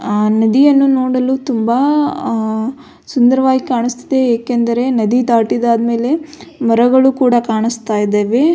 ಅಹ್ ನದಿಯನ್ನು ನೋಡಲು ತುಂಬ ಅಹ್ ಸುಂದರವಾಗಿ ಕಾಣಿಸ್ತಿದೆ ಏಕೆಂದರೆ ನದು ದಾಟಿದಾದ್ಮೆಲೆ ಮರಗಳು ಕೂಡ ಕಾಣಿಸ್ತಾ ಇದಾವೆ.